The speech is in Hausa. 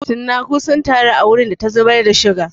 Cinnaku sun taru a wurin da ta zubar da suga.